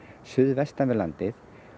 suðvestan við landið